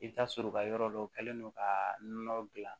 I bɛ t'a sɔrɔ u ka yɔrɔ dɔ kɛlen do ka nɔnɔ gilan